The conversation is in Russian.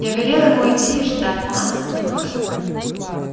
я велел ему идти и ждать нас у выхода